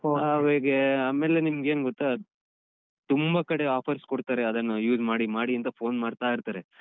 ಆಮೇಲೆ ಆಮೇಲೆ ನಿಮ್ಗೇನ್‌ ಗೊತ್ತಾ ತುಂಬ ಕಡೆ offers ಕೊಡ್ತಾರೆ ಅದನ್ನು use ಮಾಡಿ ಮಾಡಿ ಅಂತ phone ಮಾಡ್ತಾ ಇರ್ತಾರೆ.